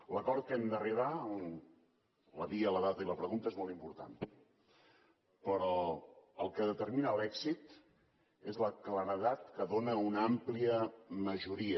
l’acord a què hem d’arribar la via la data i la pregunta és molt important però el que en determina l’èxit és la claredat que dóna una àmplia majoria